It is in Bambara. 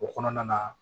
O kɔnɔna na